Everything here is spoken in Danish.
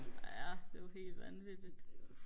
ja det er jo helt vanvittigt